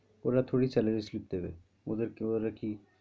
ওরা থোরি salary slip দেবে ওদের কি ওরা কি,